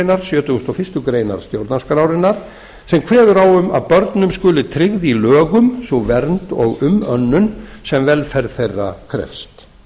sjötugustu og fyrstu grein stjórnarskrárinnar sem kveður á um að börnum skuli tryggð í lögum sú vernd og umönnun sem velferð þeirra krefst